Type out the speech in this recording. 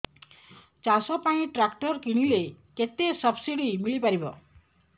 ଚାଷ ପାଇଁ ଟ୍ରାକ୍ଟର କିଣିଲେ କେତେ ସବ୍ସିଡି ମିଳିପାରିବ